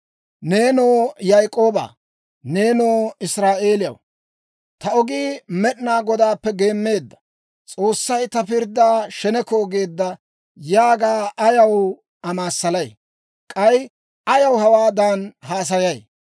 Neenoo Yaak'ooba, nenoo Israa'eeliyaw, «Ta ogii Med'inaa Godaappe geemmeedda; S'oossay ta pirddaa sheneko geedda» yaaga ayaw amaassalay? K'ay ayaw hawaadan haasayay?